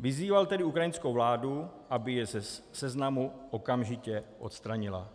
Vyzýval tedy ukrajinskou vládu, aby je ze seznamu okamžitě odstranila,